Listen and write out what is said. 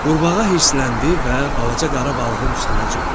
Qurbağa hirsləndi və balaca qara balığın üstünə cumdu.